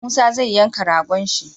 Musa zai yanka ragon shi